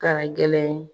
Ka gɛlɛn